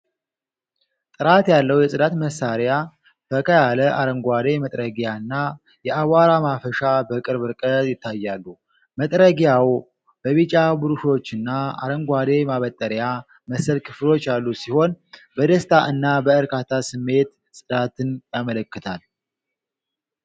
ጥራት ያለው የጽዳት መሣሪያ፣ ፈካ ያለ አረንጓዴ መጥረጊያና የአቧራ ማፈሻ በቅርብ ርቀት ይታያሉ። መጥረጊያው በቢጫ ብሩሾችና አረንጓዴ ማበጠሪያ መሰል ክፍሎች ያሉት ሲሆን፣ በደስታ እና በእርካታ ስሜት ጽዳትን ያመለክታል።